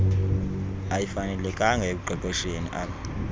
ayifanelekanga ekuqeqesheni ab